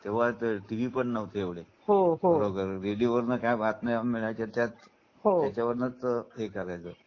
तेंव्हा टीव्हीपण नव्हते एवढे हो हो रेडिओ वरुन काही बातम्यांच्या मिळायच्या हो त्याच्यावरूनच हे कळायचं.